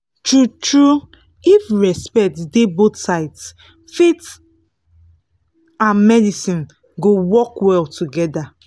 true-true if respect dey both sides faith and medicine go work well together